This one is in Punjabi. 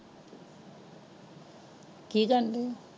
ਕਿ ਕਰਦੇ?